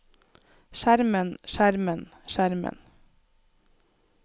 skjermen skjermen skjermen